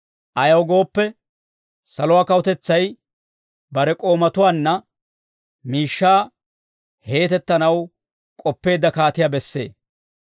«Ayaw gooppe, saluwaa kawutetsay bare k'oomatuwaanna miishshaa heetettanaw k'oppeedda kaatiyaa bessee.